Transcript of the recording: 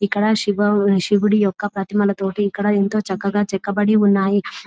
ఇక్కడ శివ శివుడి యొక్క ప్రతిమలతోటి ఎంతో చక్కగా చెక్కబడి ఉన్నాయి .